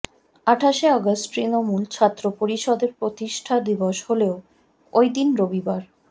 আঠাশে অগাস্ট তৃণমূল ছাত্র পরিষদের প্রতিষ্ঠা দিবস হলেও ওইদিন রবিবার